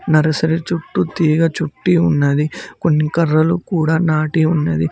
nursery చుట్టూ తీగ చుట్టి ఉన్నది కొన్ని కర్రలు కూడా నాటి ఉన్నది